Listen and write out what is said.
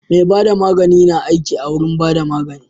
Mai bada magani na aiki awurin bada magani